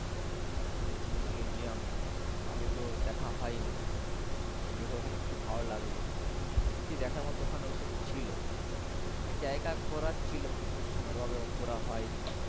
এত সুন্দর সুন্দর museum আগে তো দেখা হয়নি। দেখে এখানে খুব ভালো লাগলো। সত্যি দেখার মতন ওখানে ওসব ছিল। অনেক জায়গা ঘোরা ছিল কিন্তু সময়ের অভাবে ঘোরা হয়নি।